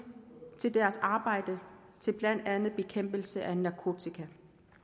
til deres arbejde til blandt andet bekæmpelse af narkotika